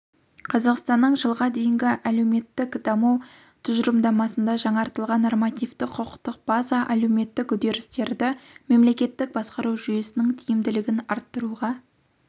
қазақстанның жылға дейінгі әлеуметтік даму тұжырымдасында жаңартылған нормативтік-құқықтық база әлеуметтік үдерістерді мемлекеттік басқару жүйесінің тиімділігін арттыруға